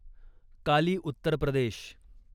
काली Uttar प्रदेश